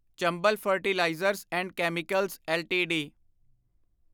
Chambal fertilisers and chemicals LTD